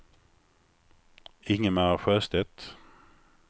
Ingemar Sjöstedt